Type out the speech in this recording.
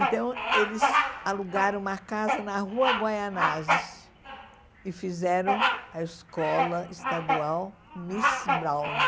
Então eles alugaram uma casa na rua Guaianazes e fizeram a escola estadual Miss Browne.